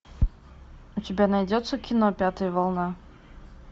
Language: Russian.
у тебя найдется кино пятая волна